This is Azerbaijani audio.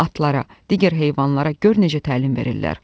Atlara, digər heyvanlara gör necə təlim verirlər.